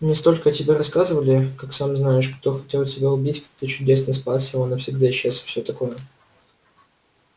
мне столько о тебе рассказывали как сам знаешь кто хотел тебя убить как ты чудесно спасся а он навсегда исчез и всё такое